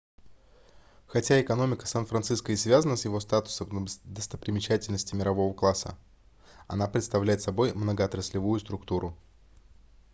хотя экономика сан-франциско и связана с его статусом достопримечательности мирового класса она представляет собой многоотраслевую структуру